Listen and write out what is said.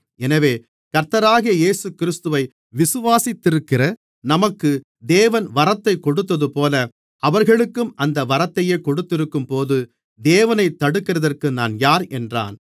எனவே கர்த்தராகிய இயேசுகிறிஸ்துவை விசுவாசித்திருக்கிற நமக்கு தேவன் வரத்தை கொடுத்ததுபோல அவர்களுக்கும் அந்த வரத்தையே கொடுத்திருக்கும்போது தேவனைத் தடுக்கிறதற்கு நான் யார் என்றான்